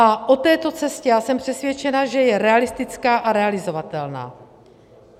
A o této cestě já jsem přesvědčena, že je realistická a realizovatelná.